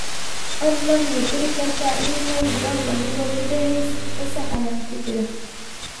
fadhlan ma diri kartaa iimayl john adigoo ku dehaysid fasax ayaan ku jiraa